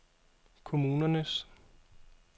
kommunernes